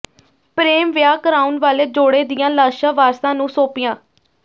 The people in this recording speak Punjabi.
ਪ੍ਰੇਮ ਵਿਆਹ ਕਰਾਉਣ ਵਾਲੇ ਜੋੜੇ ਦੀਆਂ ਲਾਸ਼ਾਂ ਵਾਰਸਾਂ ਨੂੰ ਸੌਂਪੀਆਂ